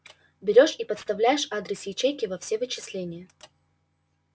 берёшь и подставляешь адрес ячейки во все вычисления